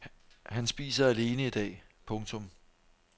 Han spiser alene i dag. punktum